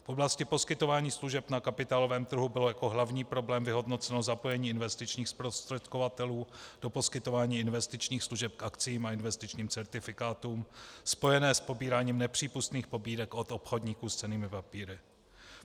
V oblasti poskytování služeb na kapitálovém trhu bylo jako hlavní problém vyhodnoceno zapojení investičních zprostředkovatelů do poskytování investičních služeb k akciím a investičním certifikátům, spojené s pobíráním nepřípustných pobídek od obchodníku s cennými papíry.